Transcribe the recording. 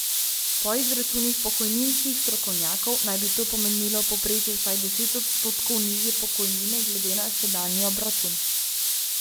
Po izračunih pokojninskih strokovnjakov naj bi to pomenilo v povprečju vsaj deset odstotkov nižje pokojnine glede na sedanji obračun.